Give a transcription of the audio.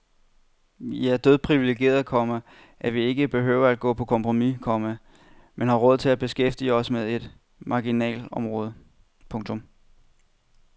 Vi er dødpriviligerede, komma at vi ikke behøver at gå på kompromis, komma men har råd til at beskæftige os med et marginalområde. punktum